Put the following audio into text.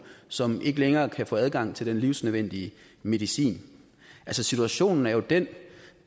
som ikke længere kan få adgang til den livsnødvendige medicin situationen er jo den